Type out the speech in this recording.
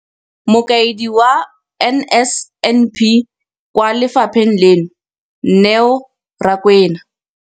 Mokaedi wa NSNP kwa lefapheng leno, Neo Rakwena,